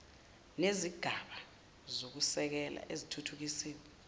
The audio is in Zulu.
nezigaba zokusekela ezithuthukisiwe